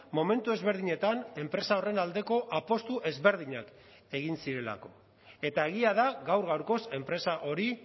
momentu ezberdinetan enpresa horren aldeko apustu ezberdinak egin zirelako eta egia da gaur gaurkoz enpresa hori